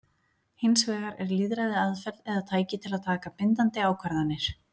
Hins vegar er lýðræði aðferð eða tæki til að taka bindandi ákvarðanir.